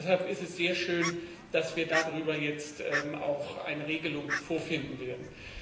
Deshalb ist es sehr schön, dass wir darüber jetzt auch eine Regelung vorfinden werden.